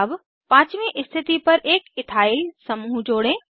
अब पाँचवी स्थिति पर एक इथाइल समूह जोड़ें